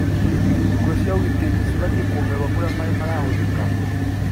Nguo cia ũgitĩri cibatiĩ kuongererwo kũrĩa maaĩ marahũthĩka